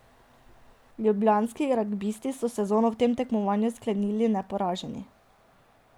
Ljubljanski ragbisti so sezono v tem tekmovanju sklenili neporaženi.